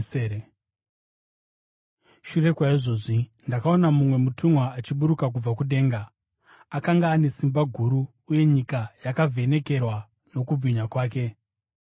Shure kwaizvozvi ndakaona mumwe mutumwa achiburuka kubva kudenga. Akanga ane simba guru, uye nyika yakavhenekerwa nokubwinya kwake.